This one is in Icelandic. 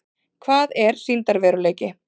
Hvað er sýndarveruleiki?